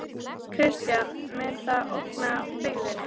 Kristján: Mun það ógna byggðinni?